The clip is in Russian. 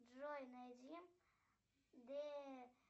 джой найди д